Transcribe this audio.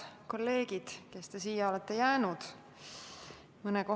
Head kolleegid, kes te siia olete jäänud!